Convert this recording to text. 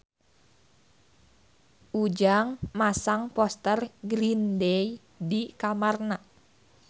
Ujang masang poster Green Day di kamarna